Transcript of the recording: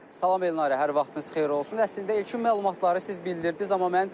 Salam Elnarə, hər vaxtınız xeyir olsun, əslində ilkin məlumatları siz bu gün bildirdiz.